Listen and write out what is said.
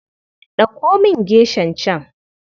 Ɗauko min geshan can.